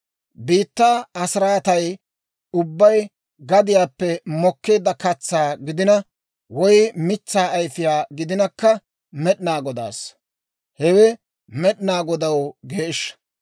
« ‹Biittaa asiraatay ubbay gadiyaappe mokkeedda katsaa gidina woy mitsaa ayfiyaa gidinakka Med'inaa Godaassa. Hewe Med'inaa Godaw geeshsha.